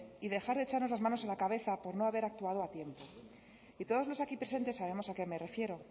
y dejar de echarnos las manos a la cabeza por no haber actuado a tiempo y todos los aquí presentes sabemos a qué me refiero